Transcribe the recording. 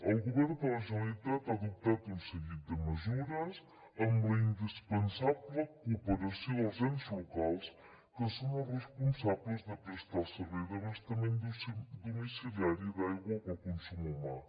el govern de la generalitat ha adoptat un seguit de mesures amb la indispensable cooperació dels ens locals que són els responsables de prestar el servei d’abastament domiciliari d’aigua pel consum humà